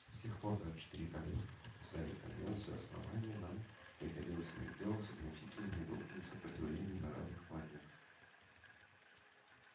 с тех пор как четыре королевства подписали конвенцию основания нам приходилось иметь дело со значительными группами сопротивления на разных планетах